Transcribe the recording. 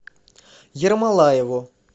ермолаеву